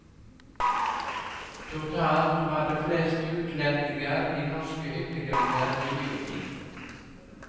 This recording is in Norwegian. Totalt var det flest utlendinger i norske hyttegrender i juni.